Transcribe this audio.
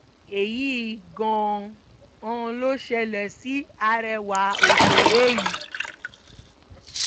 èyí gan-an ló ṣẹlẹ̀ sí arẹwà òṣèré yìí